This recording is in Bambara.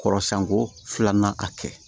Kɔrɔsɛn ko filanan ka kɛ